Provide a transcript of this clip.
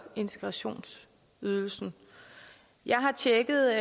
integrationsydelsen jeg har tjekket